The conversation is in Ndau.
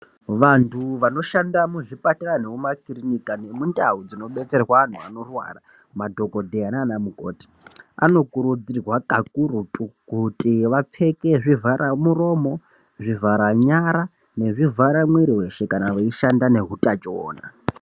Vantu vanoshanda muzvipatara nemumakirinika nemundau dzinobetserwa antu anorwara madhokodheya nana mukoti vanokurudzirwa kakurutu kuti vapfeke zvivhara muromo, zvivhara nyara nezvivhara mwiri weshe kana vachishanda neutachiona.